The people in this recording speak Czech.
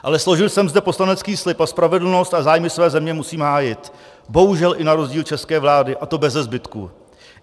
Ale složil jsem zde poslanecký slib a spravedlnost a zájmy své země musím hájit, bohužel i na rozdíl od české vlády, a to bezezbytku.